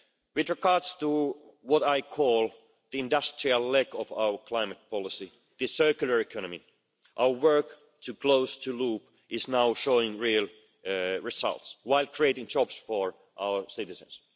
With regard to what I call the industrial leg' of our climate policy, the circular economy, our work to close the loop is now showing real results, while creating jobs for our citizens.